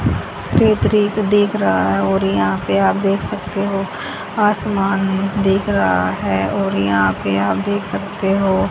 रेत ही रेत दिख रहा है और यहाँ पे आप देख सकते हो आसमान दिख रहा है और यहां पे आप देख सकते हो।